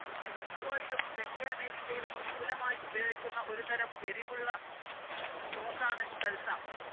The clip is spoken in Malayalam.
മെക്സിക്കോയിലും, തെക്കേ അമേരിക്കയിലും വിപുലമായി ഉപയോഗിക്കുന്ന ഒരു തരം എരിവുള്ള സോസാണ് സൽസ.